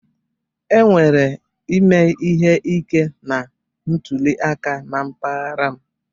E nwere ime ihe ike na ntụliaka na mpaghara m.